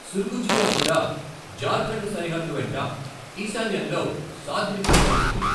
సుర్గుజియా కూడా జార్ఖండ్ సరిహద్దు వెంట ఈశాన్యంలో సాద్రితో కలుస్తుంది.